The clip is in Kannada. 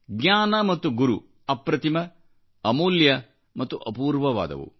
ಜ್ಞಾನ ಮತ್ತು ಗುರುಅಪ್ರತಿಮ ಅಮೂಲ್ಯ ಮತ್ತು ಅಪೂರ್ವವಾದವು